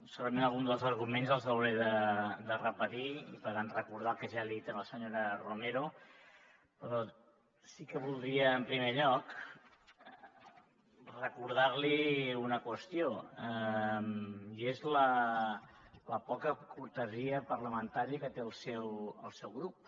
segurament alguns dels arguments els hauré de repetir per recordar el que ja li he dit a la senyora romero però sí que voldria en primer lloc recordar li una qüestió i és la poca cortesia parlamentària que té el seu grup